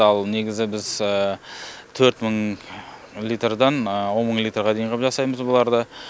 ал негізі біз төрт мың литрдан он мың литрға дейін ғып жасаймыз біз бұларды